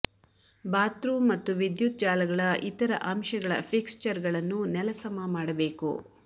bathroom ಮತ್ತು ವಿದ್ಯುತ್ ಜಾಲಗಳ ಇತರ ಅಂಶಗಳ ಫಿಕ್ಸ್ಚರ್ಗಳನ್ನು ನೆಲಸಮ ಮಾಡಬೇಕು